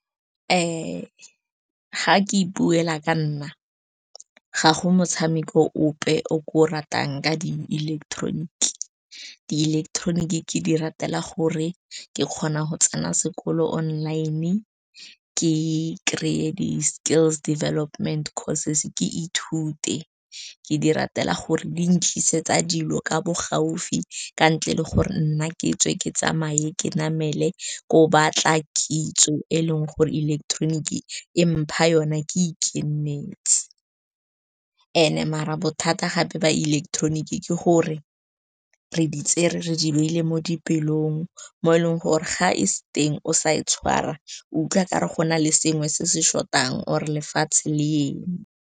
Ga ke ipuela ka nna, ga go motshameko ope o ke o ratang ka di-ileketeroniki. Di-ileketeroniki ke di ratela gore ke kgona go tsena sekolo online-e, ke kry-e di-skills development courses, ke ithute. Ke di ratela gore di ntlisetsa dilo ka bo gaufi, ka ntle le gore nna ke tswe ke tsamaye ke namele ko batla kitso, e leng gore ileketeroniki e mpha yona ke ikenetse. And-e marabo thata gape ba ileketeroniki, ke gore re di tsere re di beile mo dipelong, mo e leng gore ga e se teng o sa e tshwara, utlwa ka re gona le sengwe se se short-ang, or lefatshe le eme.